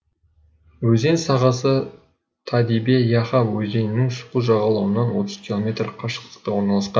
өзен сағасы тадибе яха өзенінің сол жағалауынан отыз километр қашықтықта орналасқан